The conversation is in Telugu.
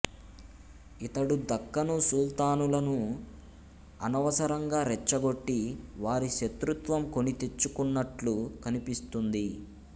ఇతడు దక్కను సుల్తానులను అనవసరంగా రెచ్చగొట్టి వారి శత్రుత్వం కొనితెచ్చుకున్నట్లు కనిపిస్తుంది